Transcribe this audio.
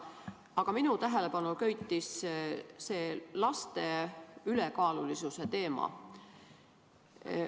Aga minu tähelepanu köitis see laste ülekaalulisuse teema.